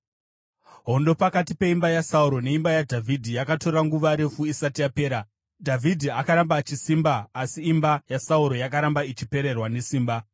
Hondo pakati peimba yaSauro neimba yaDhavhidhi yakatora nguva refu isati yapera. Dhavhidhi akaramba achisimba asi imba yaSauro yakaramba ichipererwa nesimba.